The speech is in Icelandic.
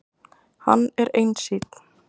Hann er einsýnn.